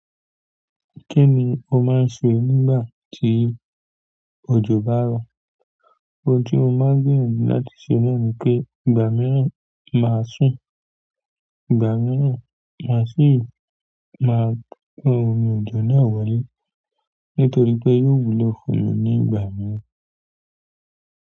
Kí ni o máa ń ṣẹ nígbà tí òjò bá rọ̀? Ohun tí mo máa ń gbìyànjú láti ṣe náà ni pé, ìgbàmíràn máa ń sùn, ìgbà míràn màá sì màá gbán omi òjò náà wọlé nítorí pé yíò wúlò fún mi ní ìgbà mìíràn.